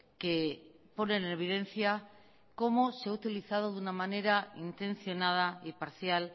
que pone en evidencia cómo se ha utilizado de una manera intencionada y parcial